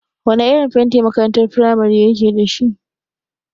Wana irin fenti makarantar firamare yake dashi?